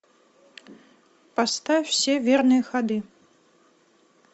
поставь все верные ходы